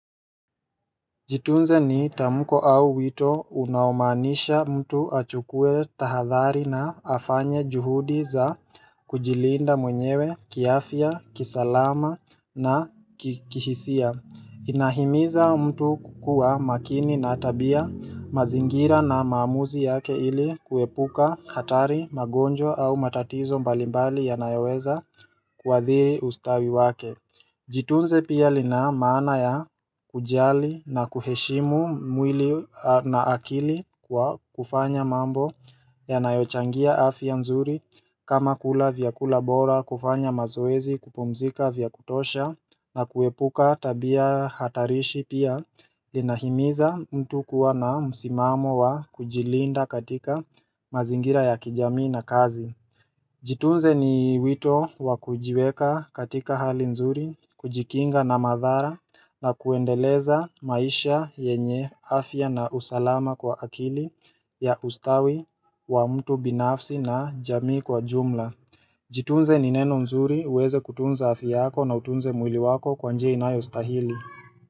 Jitunze ni tamko au wito unaomaanisha mtu achukue tahadhari na afanye juhudi za kujilinda mwenyewe kiafya, kisalama na kihisia Inahimiza mtu kukuwa makini na tabia, mazingira na maamuzi yake ili kuepuka hatari magonjwa au matatizo mbalimbali yanayoweza kuadhiri ustawi wake Jitunze pia lina maana ya kujali na kuheshimu mwili na akili kufanya mambo yanayochangia afya nzuri kama kula vyakula bora kufanya mazoezi, kupumzika vya kutosha na kuepuka tabia hatarishi pia linahimiza mtu kuwa na msimamo wa kujilinda katika mazingira ya kijamii na kazi. Jitunze ni wito wakujiweka katika hali nzuri, kujikinga na madhara na kuendeleza maisha yenye afya na usalama kwa akili ya ustawi wa mtu binafsi na jamii kwa jumla. Jitunze ni neno nzuri uweze kutunza afya yako na utunze mwili wako kwa njia inayostahili.